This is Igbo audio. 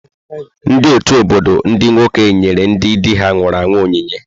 Ndị ọtù obodo ndị nwoke nyere ndị dị ha nwụrụ onyinye.